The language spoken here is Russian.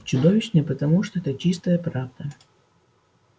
чудовищные потому что это чистая правда